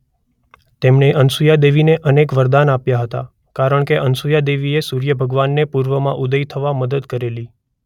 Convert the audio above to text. તેમણે અનસુયા દેવીને અનેક વરદાન આપ્યા હતા કારણકે અનસુયા દેવીએ સૂર્યભગવાનને પૂર્વમાં ઉદય થવા મદદ કરેલી.